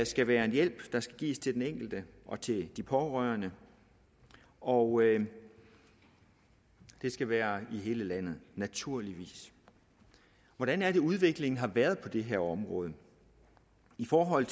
skal være en hjælp der skal gives til den enkelte og til de pårørende og det skal være i hele landet naturligvis hvordan er det udviklingen har været på det her område i forhold